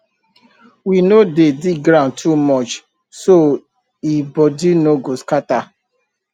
we no dey dig ground too much so e body no go scatter